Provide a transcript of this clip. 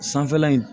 Sanfɛla in